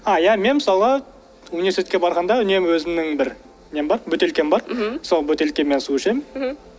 а иә мен мысалы университетке барғанда үнемі өзімнің бір нем бар бөтелкем бар мхм сол бөтелкемнен су ішемін мхм